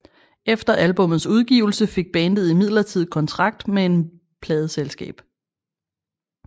Efter albummets udgivelse fik bandet imidlertid kontrakt med et pladeselskab